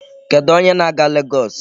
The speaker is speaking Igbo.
Kedụ onye na-aga Legọọsị?